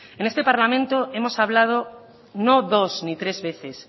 en este parlamento hemos hablado no dos ni tres veces